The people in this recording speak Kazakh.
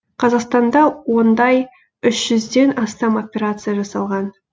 қазақстанда ондай үш жүзден астам операция жасалған